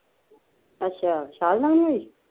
ਅੱਛਾ ਵਿਸ਼ਾਲ ਨਾਲ਼ ਗਈ